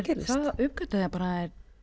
gerðist þá uppgötvaði ég bara að